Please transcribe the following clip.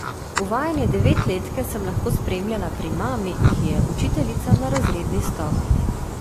Uvajanje devetletke sem lahko spremljala pri mami, ki je učiteljica na razredni stopnji.